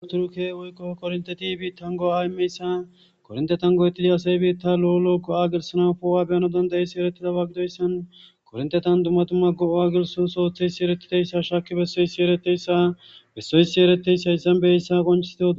Buthurukee woykko korinththethi biiththan go7aa immizeyssa korinththethan go7eththidi asay biiththaa lo7o lo7o go7aa gelissanas poo7uwa be7ana danddayissida ereththidaba gidoyssan koorinththethan dumma dumma go7aa gelisso oos oothishe shaakki beyssa ereththeyssa bessoyssi ereththes; hayssan qonccissidoogee.